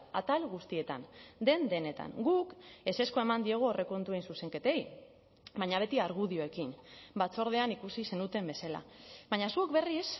atal guztietan den denetan guk ezezkoa eman diegu aurrekontuen zuzenketei baina beti argudioekin batzordean ikusi zenuten bezala baina zuk berriz